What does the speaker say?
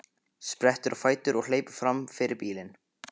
Sprettur á fætur og hleypur fram fyrir bílinn.